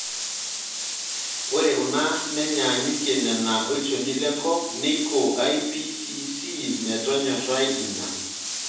Ore kuna nenyaanyukie nena olchoni lenkop neiko IPCC metonyorai ina.